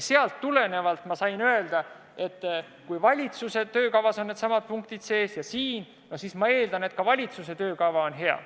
Sellest tulenevalt ma sain öelda, et kui valitsuse töökavas on needsamad punktid sees, siis ma eeldan, et ka valitsuse töökava on hea.